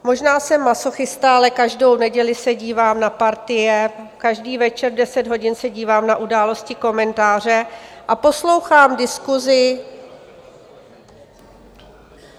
Možná jsem masochista, ale každou neděli se dívám na Partii, každý večer v deset hodin se dívám na Události, komentáře a poslouchám diskusi...